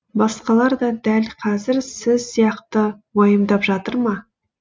басқалар да дәл қазір сіз сияқты уайымдап жатыр ма